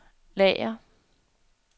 lager